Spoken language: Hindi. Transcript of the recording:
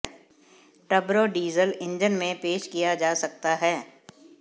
टर्बो डीजल इंजन में पेश किया जा सकता है